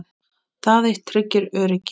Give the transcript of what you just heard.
Það eitt tryggir öryggi.